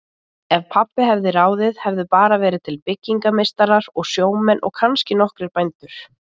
Ef pabbi hefði ráðið hefðu bara verið til byggingameistarar og sjómenn og kannski nokkrir bændur.